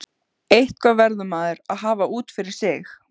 Eitthvað verður maður að hafa út af fyrir sig.